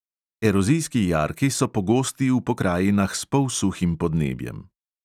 Erozijski jarki so pogosti v pokrajinah s polsuhim podnebjem.